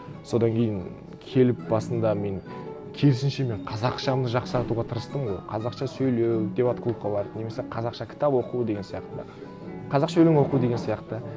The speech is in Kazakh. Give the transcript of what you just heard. содан кейін келіп басында мен керісінше мен қазақшамды жақсартуға тырыстым ғой қазақша сөйлеу дебат клубқа барып немесе қазақша кітап оқу деген сияқты қазақша өлең оқу деген сияқты